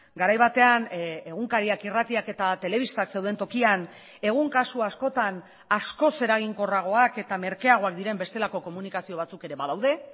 garai batean egunkariak irratiak eta telebistak zeuden tokian egun kasu askotan askoz eraginkorragoak eta merkeagoak diren bestelako komunikazio batzuk ere badaude